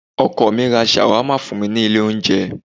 Ọkọ mi ra Shawarma fún mi ní ilé oúnjẹ.